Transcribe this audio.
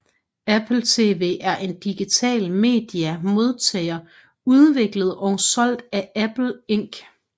Apple TV er en digital media modtager udviklet og solgt af Apple Inc